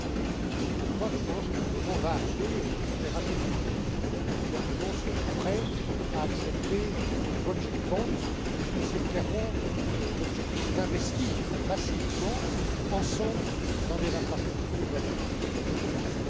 C'est aussi pourquoi le moment va arriver j'espère assez vite où les gouvernements seront prêts à accepter ces project bonds puisque l'objectif est clairement d'investir massivement, ensemble, dans des infrastructures de communication.